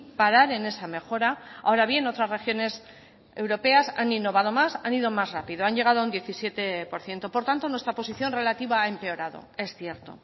parar en esa mejora ahora bien otras regiones europeas han innovado más han ido más rápido han llegado a un diecisiete por ciento por tanto nuestra posición relativa ha empeorado es cierto